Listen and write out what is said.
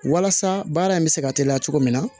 Walasa baara in bɛ se ka teliya cogo min na